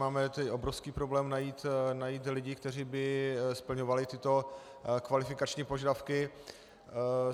Máme tedy obrovský problém najít lidi, kteří by splňovali tyto kvalifikační požadavky.